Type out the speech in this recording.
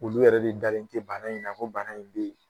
Olu yɛrɛ de dalen tɛ bana in ko bana in bɛ yen